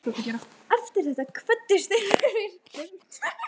Eftir þetta kvöddust þeir með virktum.